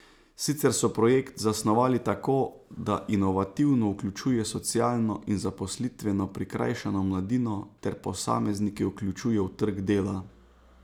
Sicer so projekt zasnovali tako, da inovativno vključuje socialno in zaposlitveno prikrajšano mladino ter posameznike vključuje v trg dela.